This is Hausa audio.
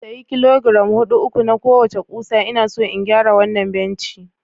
Sayi kilogiram hudu na uku kowace ƙusa ina so in gyara wannan benci